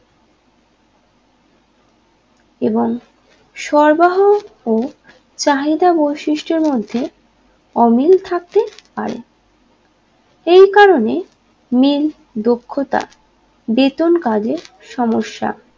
এবং সরবরাহ ও চাহিদা বৈশিষ্ট্যের মধ্যে অমিল থাকতে পারে এই কারণে মিল দক্ষতা বেতন কাজে সমস্যা